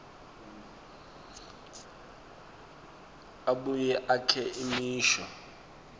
abuye akhe imisho